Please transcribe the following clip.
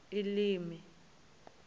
elimi